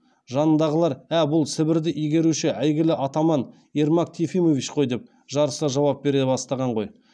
жанындағылар ә бұл сібірді игеруші әйгілі атаман ермак тифимевич қой деп жарыса жауап бере бастаған ғой